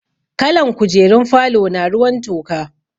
Kalan kujerun falona ruwan toka.